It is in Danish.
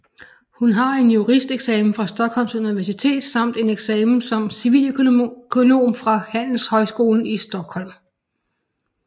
Hun har en juristeksamen fra Stockholms Universitet samt en eksamen som civiløkonom fra Handelshögskolan i Stockholm